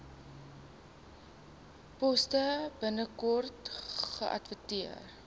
poste binnekort geadverteer